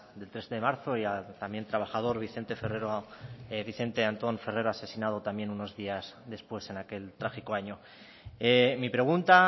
del tres de marzo y al también trabajador vicente antón ferrero asesinado también unos días después en aquel trágico año mi pregunta